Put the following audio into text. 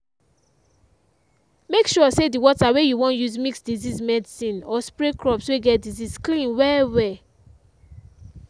make sure say the water wey you wan use mix disease medicine or spray crops wey get disease clean well well.